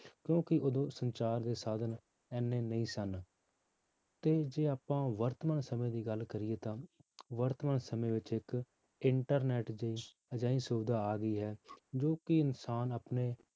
ਕਿਉਂਕਿ ਉਦੋਂ ਸੰਚਾਰ ਦੇ ਸਾਧਨ ਇੰਨੇ ਨਹੀਂ ਸਨ ਤੇ ਜੇ ਆਪਾਂ ਵਰਤਮਾਨ ਸਮੇਂ ਦੀ ਗੱਲ ਕਰੀਏ ਤਾਂ ਵਰਤਮਾਨ ਸਮੇਂ ਵਿੱਚ ਇੱਕ ਇੰਟਰਨੈਟ ਦੀ ਅਜਿਹੀ ਸੁਵਿਧਾ ਆ ਗਈ ਹੈ ਜੋ ਕਿ ਇਨਸਾਨ ਆਪਣੇ